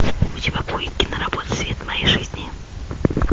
у тебя будет киноработа свет моей жизни